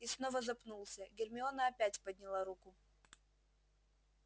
и снова запнулся гермиона опять подняла руку